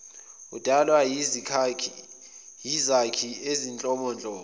udalwa yizakhi ezinhlobonhlobo